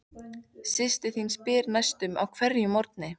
Systir þín spyr næstum á hverjum morgni